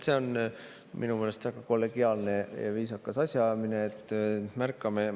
See on minu meelest väga kollegiaalne ja viisakas asjaajamine, et me märkame.